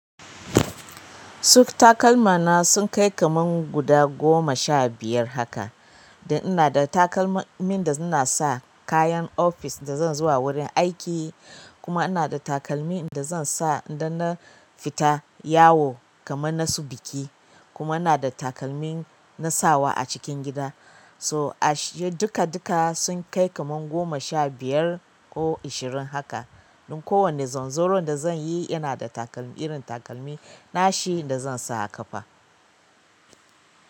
Suf takalma na sun kai kamar guda goma sha biyar haka. Da ina da takalmin da in na sa kayan ofis da zan zuwa wurin aiki. Kuma ina da takalmi da zan sa idan na fita yawo kamar na su biki. Kuma ina da takalmi na sawa a cikin gida. So a shirye duka-duka sun kai kamar goma sha biyar ko ashirin haka. Don kowane zanzoron da zan yi ina da takalmi irin takalmi nashi da zan sa ƙafa.